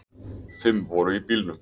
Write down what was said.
Fimm voru í bílnum